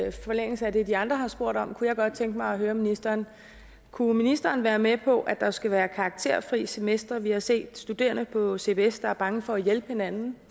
i forlængelse af det de andre har spurgt om kunne jeg godt tænke mig at høre ministeren kunne ministeren være med på at der skulle være karakterfri semestre vi har set studerende på cbs der er bange for at hjælpe hinanden